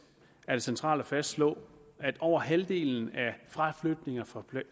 er det centralt at fastslå at over halvdelen af fraflytninger fra